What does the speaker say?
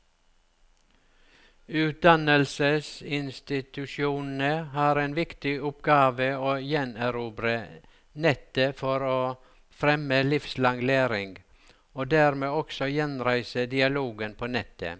Utdannelsesinstitusjonene har en viktig oppgave i å gjenerobre nettet for å fremme livslang læring, og dermed også gjenreise dialogen på nettet.